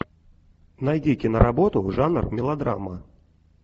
найди киноработу жанр мелодрама